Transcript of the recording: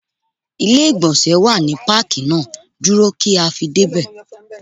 Ilé ìgbọ̀nsẹ̀ wà ní Pákì náà, dúró kí a fi dé ibẹ̀.